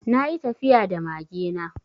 Na yi tafiya da mage na.